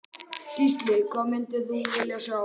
Gísli: Hvað myndir þú vilja sjá?